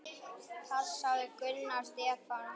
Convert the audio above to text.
Passaðu Gunnar Stefán okkar.